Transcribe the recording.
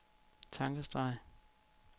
tankestreg